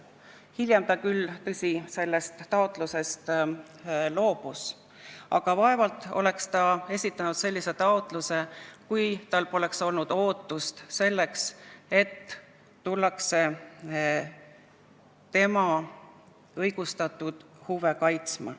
Hiljem ta küll, tõsi, sellest taotlusest loobus, aga vaevalt oleks ta esitanud sellise taotluse, kui tal poleks olnud ootust, et tullakse tema õigustatud huve kaitsma.